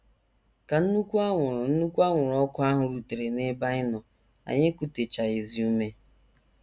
Ka nnukwu anwụrụ nnukwu anwụrụ ọkụ ahụ rutere n’ebe anyị nọ, anyị ekutechaghịzi ume.